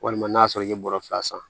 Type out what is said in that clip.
Walima n'a sɔrɔ i ye bɔrɔ fila san